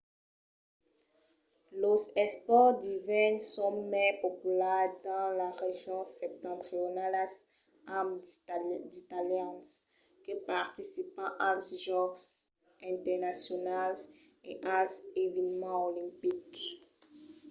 los espòrts d’ivèrn son mai populars dins las regions septentrionalas amb d’italians que participan als jòcs internacionals e als eveniments olimpics